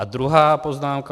A druhá poznámka.